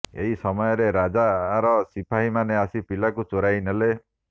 ଏହି ସମୟରେ ରାଜାର ସିପାହୀମାନେ ଆସି ପିଲାକୁ ଚୋରାଇ ନେଲେ